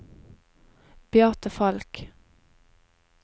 Beate Falch